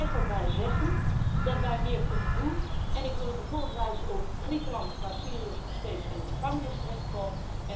Ik blijf zeggen dat wij meer kunnen doen en ik wil u bijvoorbeeld wijzen op Griekenland, waar Syriërs nog steeds in de gevangenis terechtkomen.